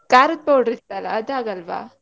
ಖಾರದ್ powder ಇತ್ತಲ್ಲಾ ಅದ್ ಆಗಲ್ವಾ?